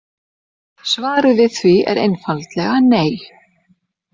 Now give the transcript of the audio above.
Svarið við því er einfaldlega nei.